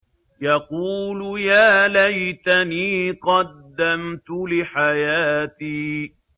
يَقُولُ يَا لَيْتَنِي قَدَّمْتُ لِحَيَاتِي